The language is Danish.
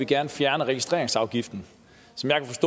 gerne fjerne registreringsafgiften